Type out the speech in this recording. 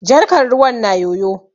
Jarkar ruwan na yoyo.